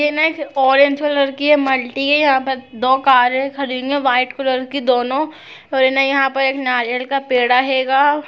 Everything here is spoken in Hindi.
ये नाइट ऑरेंज कलर की है मल्टी है यहा पर दो कारें खड़ी हुई है व्हाइट कि दोनों और यहाँ पर एक नारियल का पेड़ा हे गा --